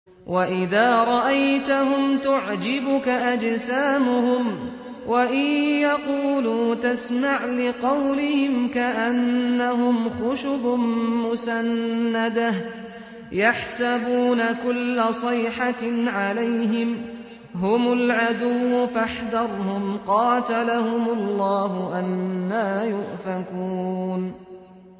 ۞ وَإِذَا رَأَيْتَهُمْ تُعْجِبُكَ أَجْسَامُهُمْ ۖ وَإِن يَقُولُوا تَسْمَعْ لِقَوْلِهِمْ ۖ كَأَنَّهُمْ خُشُبٌ مُّسَنَّدَةٌ ۖ يَحْسَبُونَ كُلَّ صَيْحَةٍ عَلَيْهِمْ ۚ هُمُ الْعَدُوُّ فَاحْذَرْهُمْ ۚ قَاتَلَهُمُ اللَّهُ ۖ أَنَّىٰ يُؤْفَكُونَ